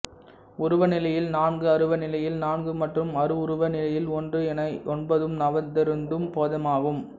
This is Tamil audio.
உருவ நிலையில் நான்கு அருவ நிலையில் நான்கு மற்றும் அருவுருவ நிலையில் ஒன்று என ஒன்பதும் நவந்தரும் பேதமாகும்